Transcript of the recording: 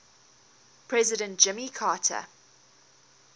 president jimmy carter